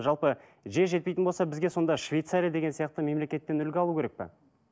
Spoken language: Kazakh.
жалпы жер жетпейтін болса бізге сонда швецария деген сияқты мемлекеттен үлгі алу керек пе